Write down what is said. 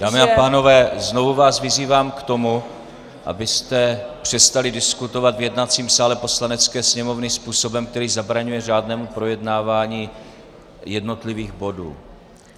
Dámy a pánové, znovu vás vyzývám k tomu, abyste přestali diskutovat v jednacím sále Poslanecké sněmovny způsobem, který zabraňuje řádnému projednávání jednotlivých bodů.